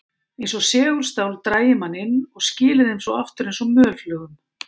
Eins og segulstál drægi menn inn og skili þeim svo aftur eins og mölflugum.